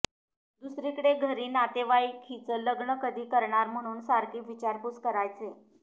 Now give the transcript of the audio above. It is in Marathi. दुसरीकडे घरी नातेवाईक हिचं लग्न कधी करणार म्हणून सारखी विचारपूस करायचे